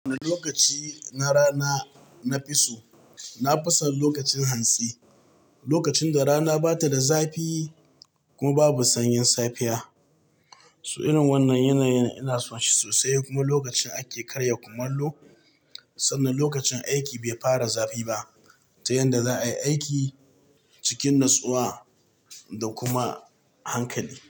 Wani lokaci na rana na fi so, na fi son lokacin hantsi, lokacin da rana ba ta da zafi kuma babu sanyin safiya. So irin wannan yanayi ina son shi sosai kuma lokacin ake karya kumallo sannan lokacin aiki bai fara zafi ba, ta yanda za a yi aiki cikin natsuwa da kuma hankali.